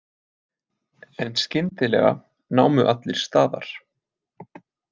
En skyndilega námu allir staðar.